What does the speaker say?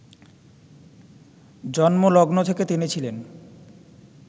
জন্মলগ্ন থেকে তিনি ছিলেন